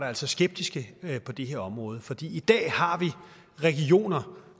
altså skeptiske på det her område fordi i dag har vi regioner